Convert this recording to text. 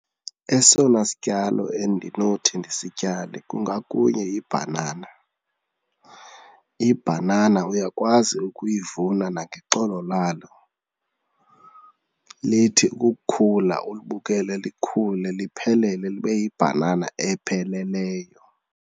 Esona sityalo endinothi ndisityale kungakunye yibhanana. Ibhanana uyakwazi ukuyivuna nangexolo lalo, lithi ukukhula ulibukele likhula liphelele libe yibhanana epheleleyo.